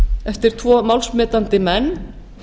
eftir tvo málsmetandi menn